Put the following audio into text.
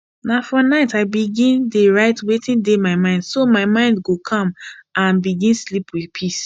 na for night i begin dey write wetin dey my mind so my mind go calm and sleep with peace